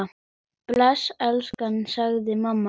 Bless elskan! sagði mamma.